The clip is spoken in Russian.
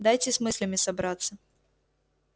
дайте с мыслями собраться